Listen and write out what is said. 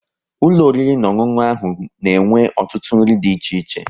Ulọ oriri na ọṅụṅụ ahụ na-enwe ọtụtụ nri dị iche iche